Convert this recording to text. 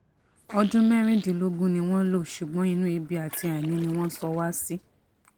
ọdún mẹ́rìndínlógún ni wọ́n lò ṣùgbọ́n inú ebi àti àìní ni wọ́n sọ wá sí